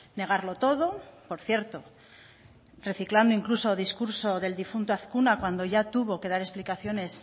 negarlo todo por cierto reciclando incluso discurso del difunto azkuna cuando ya tuvo que dar explicaciones